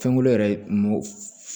Fɛnkolo yɛrɛ mɔ